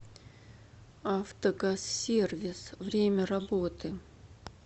автогазсервис время работы